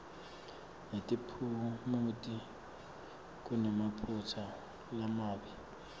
netiphumuti kunemaphutsa lamabi